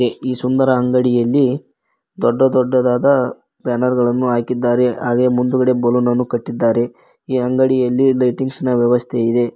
ಈ ಸುಂದರ ಅಂಗಡಿಯಲ್ಲಿ ದೊಡ್ಡ ದೊಡ್ಡದಾದ ಬ್ಯಾನರ್ ಗಳನು ಹಾಕಿದ್ದಾರೆ ಹಾಗೆ ಮುಂದುಗಡೆ ಬಲೂನ್ ಅನ್ನು ಕಟ್ಟಿದ್ದಾರೆ ಈ ಅಂಗಡಿಯಲ್ಲಿ ಲೈಟಿಂಗ್ಸ್ ನ ವ್ಯವಸ್ಥೆ ಇದೆ.